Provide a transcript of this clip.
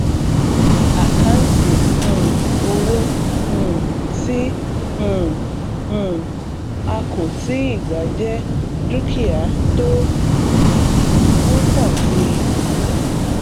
àkáǹtì um owó um tí um um a kò tíì gbà jẹ dúkìá tó ń pọ síi